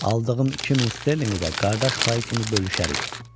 Aldığım 2000 sterlinqi də qardaş payı kimi bölüşərik.